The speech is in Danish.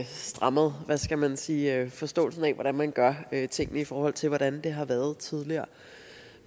strammet hvad skal man sige forståelsen af hvordan man gør tingene i forhold til hvordan det har været tidligere